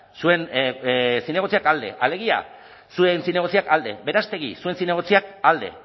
zuen zinegotziak alde alegia zuen zinegotziak alde berastegi zuen zinegotziak alde